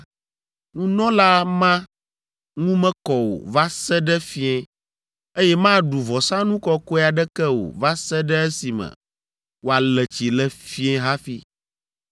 nunɔla ma ŋu mekɔ o va se ɖe fiẽ, eye maɖu vɔsanu kɔkɔe aɖeke o va se ɖe esime wòale tsi le fiẽ hafi.